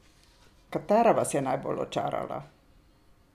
Katera vas je najbolj očarala?